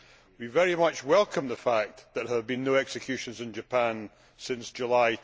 We very much welcome the fact that there have been no executions in Japan since July